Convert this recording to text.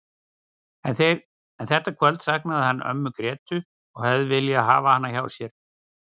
En þetta kvöld saknaði hann ömmu Grétu og hefði viljað hafa hana hjá sér.